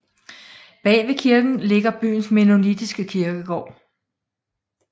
Bag ved kirken ligger byens mennonitiske kirkegård